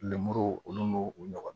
Lemuru olu n'o u ɲɔgɔnna